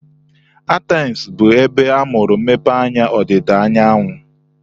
Athens bụ ebe amụrụ mmepeanya ọdịda anyanwụ.